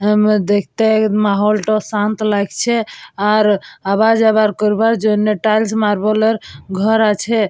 আহ দেখতে মহল টা শান্ত লাগছে আর আবার যাবার করবার জন্য টাইলস মার্বেলের ঘর আছে।